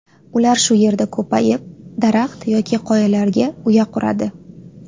Ular shu yerda ko‘payib, daraxt yoki qoyalarga uya quradi.